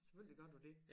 Selvfølgelig gør du det